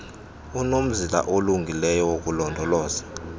unomzila olungileyo wokulondoloza